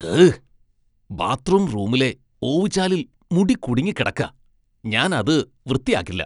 ഹ്! ബാത്ത്റൂം റൂമിലെ ഓവുചാലിൽ മുടി കുടുങ്ങിക്കിടക്ക. ഞാൻ അത് വൃത്തിയാക്കില്ല.